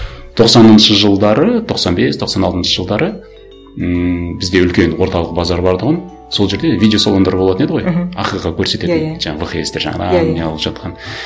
тоқсаныншы жылдары тоқсан бес тоқсан алтыншы жылдары ммм бізде үлкен орталық базар бар тұғын сол жерде видеосалондар болатын еді ғой мхм көрсететін иә иә жаңағы